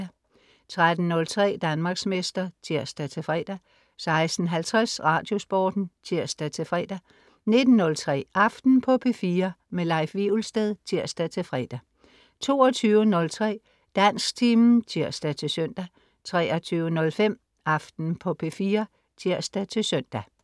13.03 Danmarksmester (tirs-fre) 16.50 Radiosporten (tirs-fre) 19.03 Aften på P4. Leif Wivelsted (tirs-fre) 22.03 Dansktimen (tirs-søn) 23.05 Aften på P4 (tirs-søn)